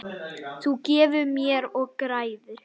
Þú gefur mér og græðir.